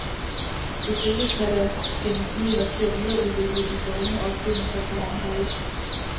Selvfølgelig kan der findes midler til at videreudvikle de lovende opfindelser på området.